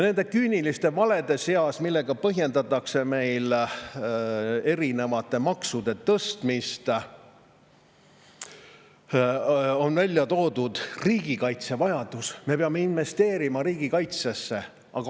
Nende küüniliste valede seas, millega põhjendatakse erinevate maksude tõstmist, on välja toodud riigikaitse vajadus: me peame investeerima riigikaitsesse.